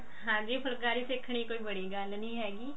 ਹਾਂਜੀ ਫੁਲਕਰੀ ਸਿੱਖਣੀ ਕੋਈ ਬੜੀ ਨੀ ਹੈਗੀ